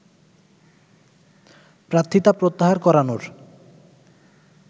প্রার্থিতা প্রত্যাহার করানোর